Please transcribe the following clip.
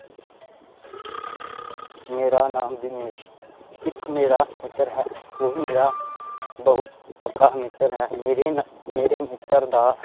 ਮੇਰਾ ਨਾਮ ਦਿਨੇਸ਼ ਇੱਕ ਮੇਰਾ ਮਿੱਤਰ ਹੈ ਉਹ ਮੇਰਾ ਬਹੁਤ ਪੱਕਾ ਮਿੱਤਰ ਹੈ ਮੇਰੇ ਨਾ ਮੇਰੇ ਮਿੱਤਰ ਦਾ